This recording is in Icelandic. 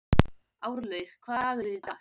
Árlaug, hvaða dagur er í dag?